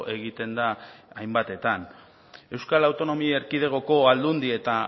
egiten da hainbatetan euskal autonomi erkidegoko aldundi eta